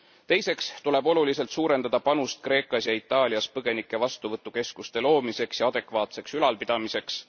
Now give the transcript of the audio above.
Teiseks tuleb oluliselt suurendada panust Kreekas ja Itaalias põgenike vastuvõtukeskuste loomiseks ja adekvaatseks ülalpidamiseks.